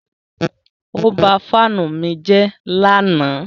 Ó ba fáánù mi jẹ́ lánàá.